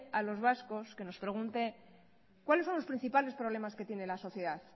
a los vascos que nos pregunte cuáles son los principales que tiene la sociedad